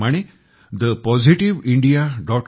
ज्याप्रमाणे thepositiveindia